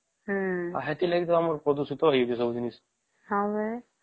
ଆଉ ସେଠି ଲାଗି ତ ଆମର ସବୁ ପ୍ରଦୂଷିତ ହେଉଛି ଜିନିଷ